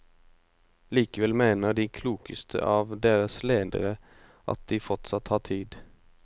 Likevel mener de klokeste av deres ledere at de fortsatt har tid.